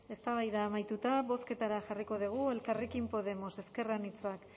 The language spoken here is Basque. eztabaida amaituta bozketara jarriko dugu elkarrekin podemos ezker anitzak